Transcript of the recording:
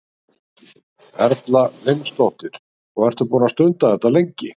Erla Hlynsdóttir: Og ertu búinn að stunda þetta lengi?